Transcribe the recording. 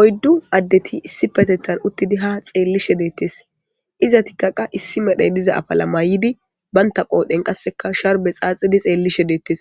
Oyddu addetti issipetetan uttidii ha xellishe deetes izetikka qase issi malay diza afala mayidii bantta qodhen qasekka sharbe xaxidi ha xellishe deetes